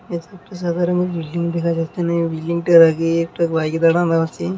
একটি সাদা রঙের বিল্ডিং দেখা যাচ্ছে এখানে বিল্ডিং টার আগে একটা বাইক দাঁড়ানো আছে।